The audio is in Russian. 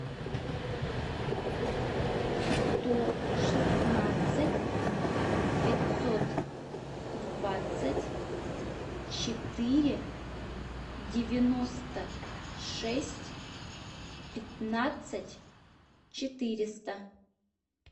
сто шестнадцать пятьсот двадцать четыре девяносто шесть пятнадцать четыреста